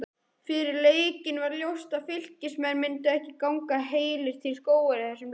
Fyrir leikinn var ljóst að Fylkismenn myndu ekki ganga heilir til skógar í þessum leik.